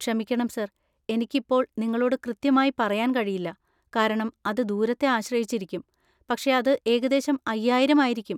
ക്ഷമിക്കണം സർ, എനിക്ക് ഇപ്പോൾ നിങ്ങളോട് കൃത്യമായി പറയാൻ കഴിയില്ല, കാരണം അത് ദൂരത്തെ ആശ്രയിച്ചിരിക്കും, പക്ഷേ അത് ഏകദേശം അയ്യായിരം ആയിരിക്കും.